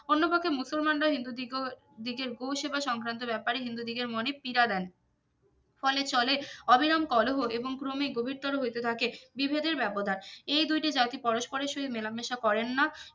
অন্য কাউকে মুসলমানরা হিন্দু দিগ দিগের গো সেবা সংক্রান্ত ব্যাপারে হিন্দু দিগের মনে পিরা দেন ফলে চলে অবিরাম কোলোহো এবং ক্রমে গভীরতর হইতে থাকে বিভেদের ব্যবধান এই দুইটি জাতি পরস্পরে সহিত মেলামেশা করেন না